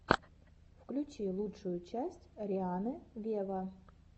включи лучшую часть рианны вево